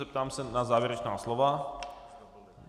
Zeptám se na závěrečná slova?